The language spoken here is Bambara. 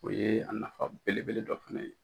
O ye a nafa belebele dɔ fana ye.